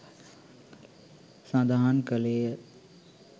සඳහන් කළේය.